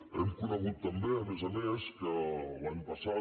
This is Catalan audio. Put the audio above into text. hem conegut també a més a més que l’any passat